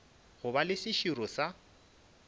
go ba le seširo sa